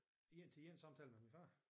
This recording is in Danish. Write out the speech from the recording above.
En til en samtale med min far